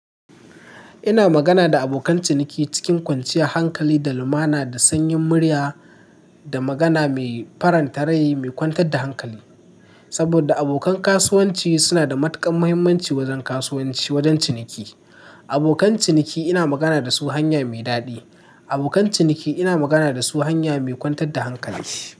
Ina magana da abokan ciniki cikin kwanciyar hankali da lumana da sanyin murya da magana mai faranta rai mai kwantar da hankali. Saboda abokan kasuwanci suna da matukar muhimmanci wajen kasuwanci wajen ciniki. Abokan ciniki ina magana da su hanya mai daɗi. Abokan ciniki ina magana da su hanya mai kwantar da hankali.